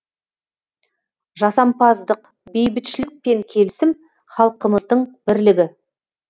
жасампаздық бейбітшілік пен келісім халқымыздың бірлігі